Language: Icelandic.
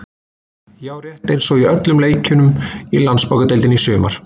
Já, rétt eins og í öllum leikjunum í Landsbankadeildinni í sumar.